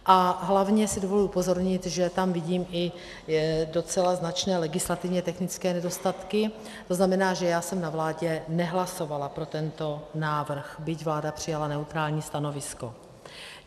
A hlavně si dovoluji upozornit, že tam vidím i docela značné legislativně technické nedostatky, to znamená, že já jsem na vládě nehlasovala pro tento návrh, byť vláda přijala neutrální stanovisko.